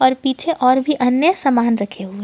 पीछे और भी अन्य सामान रखे हुए--